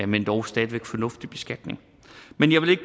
men dog stadig væk fornuftig beskatning men jeg vil ikke